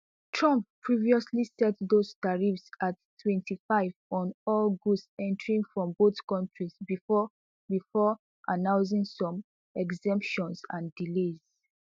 trump previously set those tariffs at twenty-five on all goods entering from both countries before before announcingsome exemptions and delays